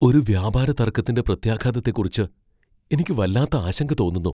ഒരു വ്യാപാരതർക്കത്തിന്റെ പ്രത്യാഘാതത്തെക്കുറിച്ച് എനിക്ക് വല്ലാത്ത ആശങ്ക തോന്നുന്നു.